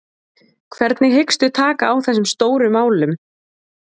Hvernig hyggstu taka á þessum stóru málum?